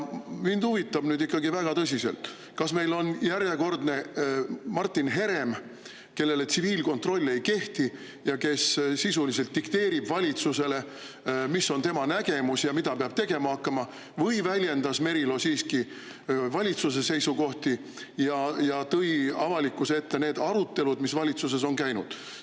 Mind huvitab ikkagi väga tõsiselt, kas meil on nüüd järjekordne Martin Herem, kelle kohta tsiviilkontroll ei kehti ja kes sisuliselt dikteerib valitsusele, mis on tema nägemus ja mida peab tegema hakkama, või väljendas Merilo siiski valitsuse seisukohti ja tõi avalikkuse ette need arutelud, mis valitsuses on käinud.